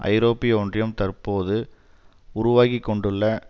ஐரோப்பிய ஒன்றியம் தற்போது உருவாக்கிக்கொண்டுள்ள